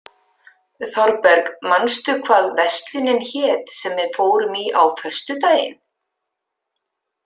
Þorberg, manstu hvað verslunin hét sem við fórum í á föstudaginn?